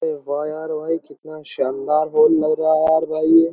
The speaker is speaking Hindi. वाह यार कितना शानदार हाल लग रहा है भाई --